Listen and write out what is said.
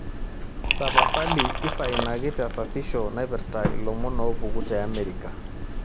tapasali isainaki tesasisho naipirta ilomon oopuku teamerica